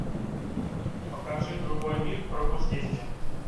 покажи другой мир пробуждение